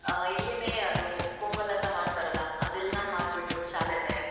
ಆ ಇಲ್ಲಿನೆ, ಅದು ಪೊಂಗಲ ಅಂತ ಮಾಡ್ತಾರಲ್ಲಾ, ಅದೆಲ್ಲಾ ಮಾಡ್ಬಿಟ್ಟು ಶಾಲೆಲೆ.